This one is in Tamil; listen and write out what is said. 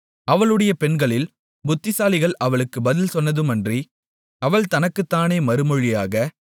அவளுடைய பெண்களில் புத்திசாலிகள் அவளுக்கு பதில் சொன்னதுமின்றி அவள் தனக்குத் தானே மறுமொழியாக